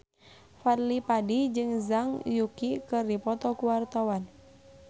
Fadly Padi jeung Zhang Yuqi keur dipoto ku wartawan